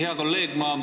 Hea kolleeg!